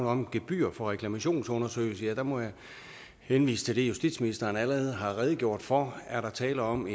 om gebyr for reklamationsundersøgelser må jeg henvise til det justitsministeren allerede har redegjort for er der tale om